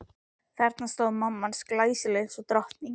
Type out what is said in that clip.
Þarna stóð mamma hans, glæsileg eins og drottning.